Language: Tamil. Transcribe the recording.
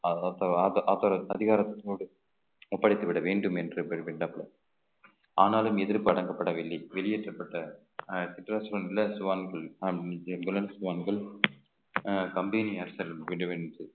ஆதரவு அதிகாரத்தோடு ஒப்படைத்து விட வேண்டும் என்று ஒரு விண்ணப்பம் ஆனாலும் எதிர்ப்பு அடங்கப்படவில்லை வெளியேற்றப்பட்ட அஹ் முதல் அஹ் company அரசர்